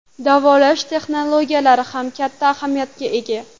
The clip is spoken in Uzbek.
Davolash texnologiyalari ham katta ahamiyatga ega.